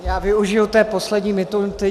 Já využiji té poslední minuty.